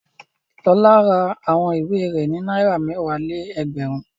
Lọlá ra àwọn ìwé rẹ̀ ní náírà mẹ́wàá-lé-ẹgbẹ̀rún.